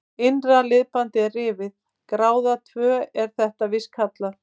Innra liðbandið er rifið, gráða tvö er þetta víst kallað.